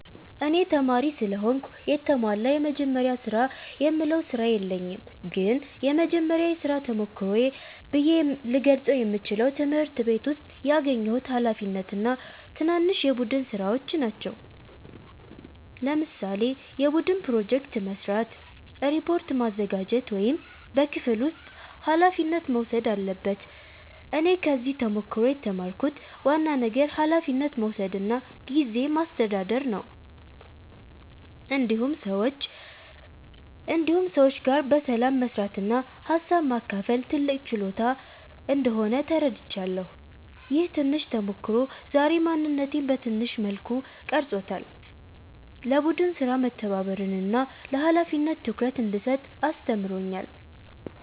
እኔ ተማሪ ስለሆንኩ የተሟላ “የመጀመሪያ ስራ”የምለው ስራ የለኝም ግን የመጀመሪያ የሥራ ተሞክሮዬ ብዬ ልገልጸው የምችለው ትምህርት ቤት ውስጥ ያገኘሁት ኃላፊነት እና ትናንሽ የቡድን ሥራዎች ናቸው። ለምሳሌ የቡድን ፕሮጀክት መስራት፣ ሪፖርት ማዘጋጀት ወይም በክፍል ውስጥ ኃላፊነት መውሰድ አለበት እኔ ከዚህ ተሞክሮ የተማርኩት ዋና ነገር ኃላፊነት መውሰድ እና ጊዜ ማስተዳደር ነው። እንዲሁም ሰዎች ጋር በሰላም መስራት እና ሀሳብ ማካፈል ትልቅ ችሎታ እንደሆነ ተረድቻለሁ። ይህ ትንሽ ተሞክሮ ዛሬ ማንነቴን በትንሹ መልኩ ቀርጾታል፤ ለቡድን ሥራ መተባበርን እና ለኃላፊነት ትኩረት እንድሰጥ አስተምሮኛል።